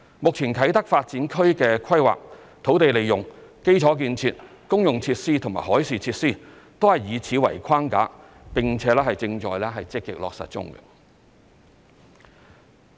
目前啟德發展區的規劃、土地利用、基礎建設、公用設施和海事設施，均以此為框架，並且正在積極落實中。